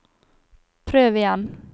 prøv igjen